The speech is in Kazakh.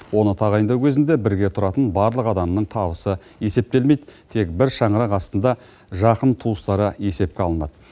оны тағайындау кезінде бірге тұратын барлық адамның табысы есептелмейді тек бір шаңырақ астында жақын туыстары есепке алынады